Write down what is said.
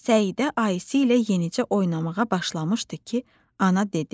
Səidə Ayşə ilə yenicə oynamağa başlamışdı ki, ana dedi: